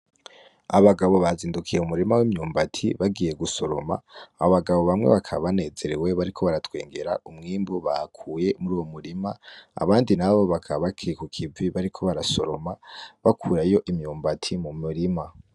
Abagabo bazindukiye mu murima w'imyumbati bagiye gusoroma abo bagabo bamwe bakaba banezerewe bariko baratwengera umwimbu bakuye muri uwo murima abandi nabo bakaba bakiri ku kivi bariko barasoroma bakurayo imyumbati mu murima.